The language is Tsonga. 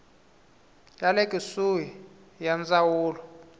ya le kusuhi ya ndzawulo